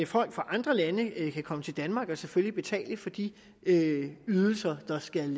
fra andre lande kan komme til danmark og selvfølgelig betale for de ydelser der skal